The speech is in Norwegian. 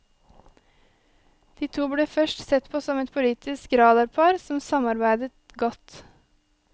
De to ble først sett på som et politisk radarpar som samarbeidet godt.